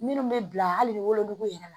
Minnu bɛ bila hali wolonugu yɛrɛ la